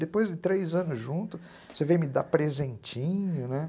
Depois de três anos juntos, você veio me dar presentinho, né?